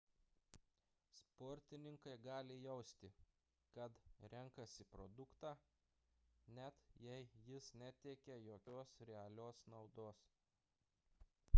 sportininkai gali jausti kad renkasi produktą net jei jis neteikia jokios realios naudos